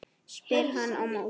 spyr hann á móti.